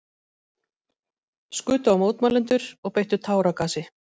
Skutu á mótmælendur og beittu táragasi